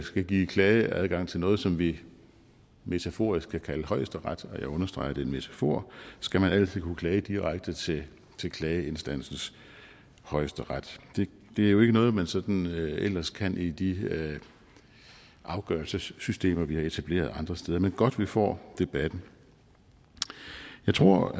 skal give klageadgang til noget som vi metaforisk kan kalde højesteret og jeg understreger at det er en metafor skal man altid kunne klage direkte til til klageinstansens højesteret det er jo ikke noget man sådan ellers kan i de afgørelsessystemer vi har etableret andre steder men godt vi får debatten jeg tror